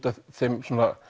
af því